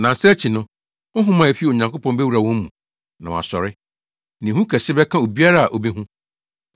Nnansa akyi no, honhom a efi Onyankopɔn bewura wɔn mu na wɔasɔre. Na ehu kɛse bɛka obiara a obehu.